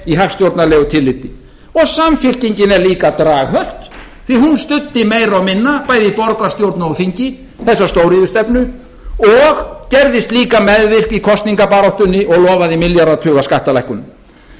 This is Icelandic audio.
í hagstjórnarlegu tilliti og samfylkingin er líka draghölt því hún studdi meira og minna bæði í borgarstjórn og á þingi þessa stóriðjustefnu og gerðist líka meðvirk í kosningabaráttunni og lofaði milljarðatuga skattalækkunum vinstri